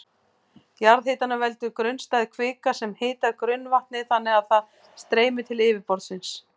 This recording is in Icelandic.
Jarðhitanum veldur grunnstæð kvika sem hitar grunnvatnið þannig að það streymir til yfirborðsins.